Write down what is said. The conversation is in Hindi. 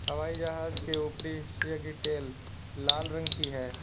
हवाई जहाज के ऊपरी हिस्से कि टेल लाल रंग कि है।